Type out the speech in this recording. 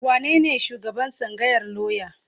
Wanene shugaban tsangayar lauya?